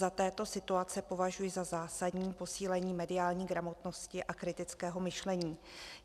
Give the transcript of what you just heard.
Za této situaci považuji za zásadní posílení mediální gramotnosti a kritického myšlení.